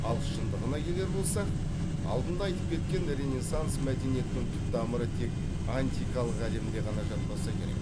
ал шындығына келер болсақ алдында айтып кеткен ренессанс мәдениетінің түп тамыры тек антикалық әлемде ғана жатпаса керек